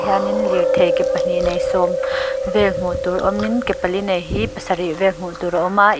hianin lirthei ke pahnih nei sawm vel hmuh tur awmin ke pali nei hi pasarih vel hmuh tur a awm a.